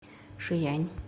шиянь